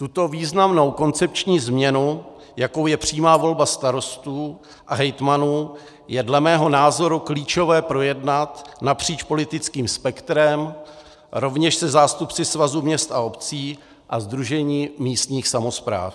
Tuto významnou koncepční změnu, jakou je přímá volba starostů a hejtmanů, je dle mého názoru klíčové projednat napříč politickým spektrem, rovněž se zástupci Svazu měst a obcí a Sdružení místních samospráv.